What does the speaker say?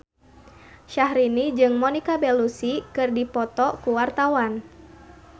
Syahrini jeung Monica Belluci keur dipoto ku wartawan